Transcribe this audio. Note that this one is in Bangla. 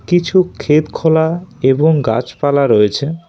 কিছু ক্ষেতখোলা এবং গাছপালা রয়েছে।